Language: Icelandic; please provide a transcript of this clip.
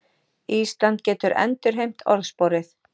Ísland getur endurheimt orðsporið